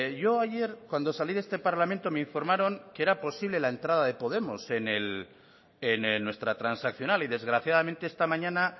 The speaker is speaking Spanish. yo ayer cuando salí de este parlamento me informaron que era posible la entrada de podemos en nuestra transaccional y desgraciadamente esta mañana